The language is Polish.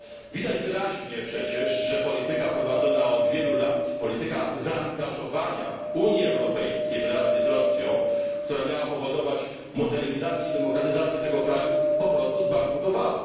Widać przecież wyraźnie, że polityka prowadzona od wielu lat, polityka zaangażowania Unii Europejskiej w relacje z Rosją, która miała powodować modernizację i demokratyzację tego kraju, po prostu zbankrutowała.